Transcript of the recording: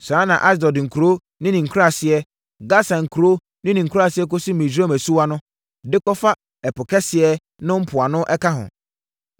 Saa ara na Asdod nkuro ne ne nkuraaseɛ, Gasa nkuro ne ne nkuraaseɛ kɔsi Misraim asuwa no, de kɔfa Ɛpo Kɛseɛ no mpoano ka ho.